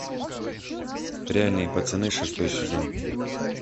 реальные пацаны шестой сезон